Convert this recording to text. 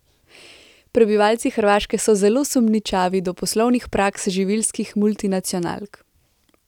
Prebivalci Hrvaške so zelo sumničavi do poslovnih praks živilskih multinacionalk.